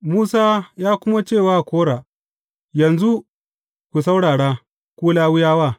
Musa ya kuma ce wa Kora, Yanzu ku saurara, ku Lawiyawa!